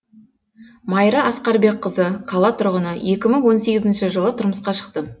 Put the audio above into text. майра асқарбекқызы қала тұрғыны екі мың он сегізінші жылы тұрмысқа шықтым